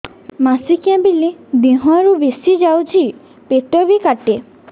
ମାସିକା ବେଳେ ଦିହରୁ ବେଶି ଯାଉଛି ପେଟ ବି କାଟେ